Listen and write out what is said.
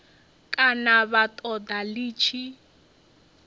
kana vha ṱoḓa ḽi tshi